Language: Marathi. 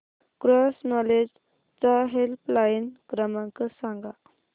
क्रॉस नॉलेज चा हेल्पलाइन क्रमांक सांगा